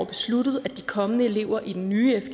besluttet at de kommende elever i den nye